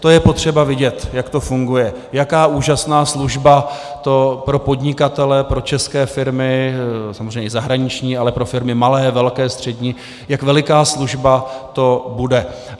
To je potřeba vidět, jak to funguje, jaká úžasná služba to pro podnikatele, pro české firmy, samozřejmě i zahraniční, ale pro firmy malé, velké, střední, jak veliká služba to bude.